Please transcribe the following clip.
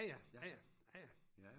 Ja ja ja ja ja ja